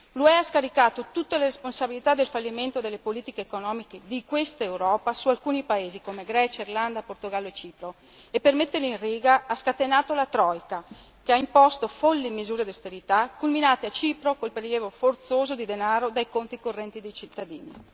L'UE ha scaricato tutte le responsabilità del fallimento delle politiche economiche di questa Europa su alcuni paesi come Grecia, Irlanda, Portogallo e Cipro e per metterli in riga ha scatenato la troika che ha imposto folli misure di austerità culminate a Cipro con il prelievo forzoso di denaro dai conti correnti dei cittadini.